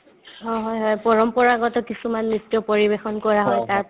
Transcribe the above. অ, হয় হয় পৰম্পৰাগত কিছুমান নৃত্য পৰিৱেশন কৰা হয় তাত